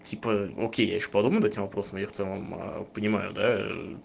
окей я ещё подумаю этим вопросом я понимаю да